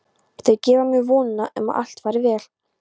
Þau gefa mér vonina um að allt fari vel.